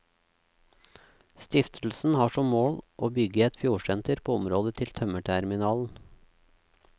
Stiftelsen har som mål å bygge et fjordsenter på området til tømmerterminalen.